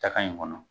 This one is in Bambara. Taka in kɔnɔ